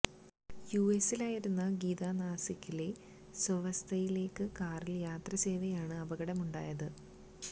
U എസിലായിരുന്ന ഗീത നാസിക്കിലെ സ്വവസതിയിലേക്ക് കാറില് യാത്ര ചെയ്യവെയാണ് അപകടമുണ്ടായത്